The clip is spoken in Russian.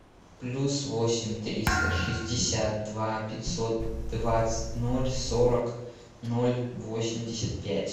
плюс восемь триста шестьдесят два пятьсот двадцать ноль сорок ноль восемьдесят пять